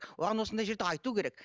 оған осындай жерде айту керек